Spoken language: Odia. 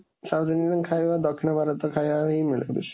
south Indian ଖାଇବା, ଦକ୍ଷିଣ ଭାରତ ଖାଇବା ହିଁ ମିଳେ ବେଶୀ।